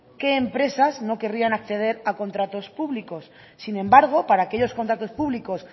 qué empresas no querían acceder a contratos públicos sin embargo para aquellos contratos públicos